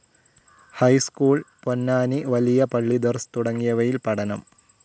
High school, Ponnani വലിയ പള്ളി ദരസ് തുടങ്ങിയവയിൽ പഠനം.